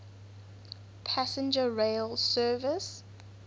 passenger rail service